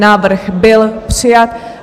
Návrh byl přijat.